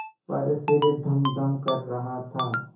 पर सिर धमधम कर रहा था